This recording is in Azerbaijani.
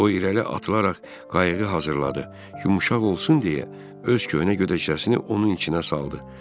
O irəli atılaraq qayığı hazırladı, yumşaq olsun deyə öz köhnə gödəkçəsini onun içinə saldı.